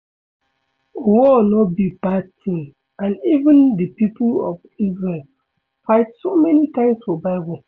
War no be bad thing and even the people of Isreal fight so many times for bible